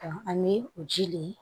Ani o ji le